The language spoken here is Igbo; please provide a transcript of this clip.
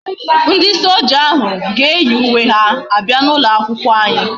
Ndi soja ahu ga eyi uwe ha abia na ulo akwukwo anyi